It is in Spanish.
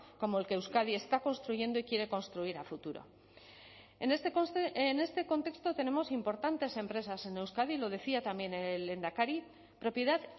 como el que euskadi está construyendo y quiere construir a futuro en este contexto tenemos importantes empresas en euskadi lo decía también el lehendakari propiedad